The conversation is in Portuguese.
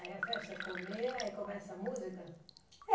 Aí a festa é comer, aí começa a música? É